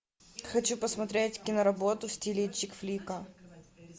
хочу посмотреть киноработу в стиле чик флика